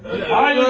Nə deyəcəm?